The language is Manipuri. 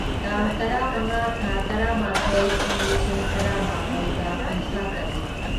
ꯇꯥꯡ ꯇꯔꯥꯃꯉꯥ ꯊꯥ ꯇꯔꯥꯃꯥꯊꯣꯢ ꯢꯪ ꯂꯤꯁꯤꯡ ꯇꯔꯥꯃꯥꯄꯜꯒ ꯀꯨꯟꯊ꯭ꯔꯥꯇꯔꯨꯛ